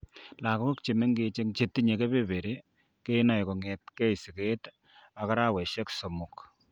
Lagok chemengech eng' chetinye kebeberi kenae kong'etke siget ak araweshek somok.